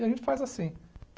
E a gente faz assim.